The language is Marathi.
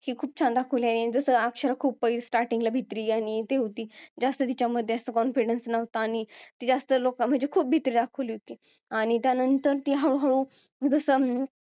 ती छान दाखवली आहे जसं अक्षरा खूप starting ला भित्री आणि ती होती जास्त तिच्यामध्ये असं confidence नव्हता आणि जास्त लोकांमध्ये म्हणजे खूप भीती दाखवली होती आणि त्यानंतर ती हळूहळू जसं अं